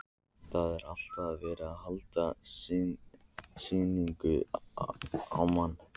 Það var alltaf verið að halda sýningu á manni.